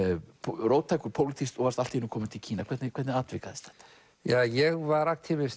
róttækur pólitískt og varst allt í einu kominn til Kína hvernig hvernig atvikaðist þetta ég var